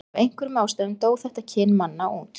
af einhverjum ástæðum dó þetta kyn manna út